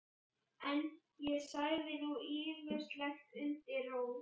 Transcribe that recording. En ég sagði nú ýmislegt undir rós.